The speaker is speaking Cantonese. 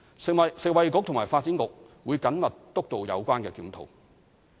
食物及衞生局及發展局會緊密督導有關檢討。